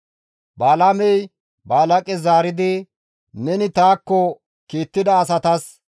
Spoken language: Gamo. Balaamey Balaaqes zaaridi, «Neni taakko kiittida asatas,